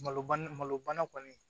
Malo bana malo bana kɔni